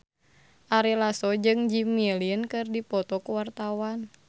Ari Lasso jeung Jimmy Lin keur dipoto ku wartawan